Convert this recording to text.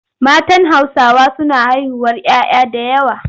Matan Hausawa suna haihuwar 'ya 'ya da yawa.